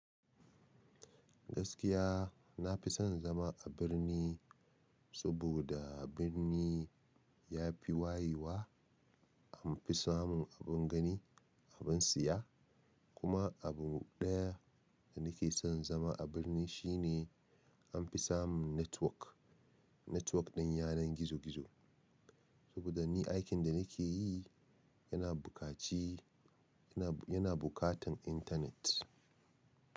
Gaskiya nafi son zama a birni. Saboda birni yafi wayewa, an fi samun abin gani, abin siya. Kuma abu ɗaya da nake son zama a birni shine an fi samun netwok. Netwok ɗin yanar gizo gizo. Saboda ni aikin da nake yi yana bukatan internet.